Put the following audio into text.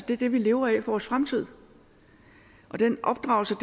det vi lever af vores fremtid og den opdragelse